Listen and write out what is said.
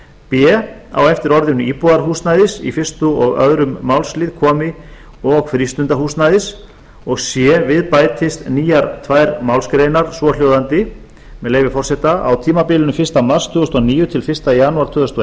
b á eftir orðinu íbúðarhúsnæðis í fyrsta og önnur málsl komi og frístundahúsnæðis c við bætist tvær nýjar málsgreinar svohljóðandi með leyfi forseta á tímabilinu fyrsta mars tvö þúsund og níu til fyrsta janúar tvö þúsund og